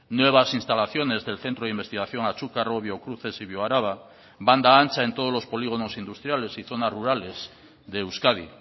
nuevas instalaciones del centro de investigación achucarro biocruces y bioaraba banda ancha en todos los polígonos industriales y zonas rurales de euskadi